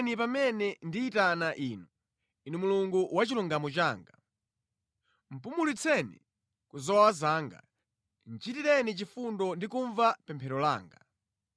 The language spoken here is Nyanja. Ndiyankheni pamene ndiyitana Inu, Inu Mulungu wa chilungamo changa. Pumulitseni ku zowawa zanga; chitireni chifundo ndi kumva pemphero langa.